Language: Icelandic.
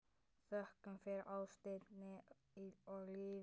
Þökkum fyrir ástina og lífið.